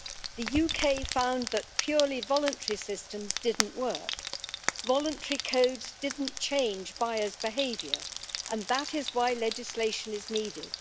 The UK found that purely voluntary systems didn't work. Voluntary codes didn't change buyers' behaviour, and that is why legislation is needed.